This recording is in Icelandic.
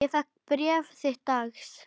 Ég fékk bréf þitt dags.